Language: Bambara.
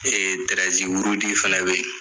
rudi fɛnɛ be yen